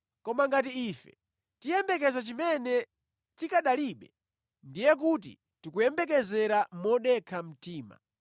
Koma ngati ife tiyembekeza chimene tikanalibe, ndiye kuti tikuyembekeza modekha mtima.